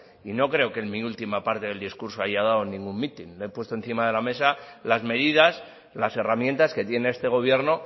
y no creo que en mi última parte del discurso haya dado ningún mitin le he puesto encima de la mesa las medidas las herramientas que tiene este gobierno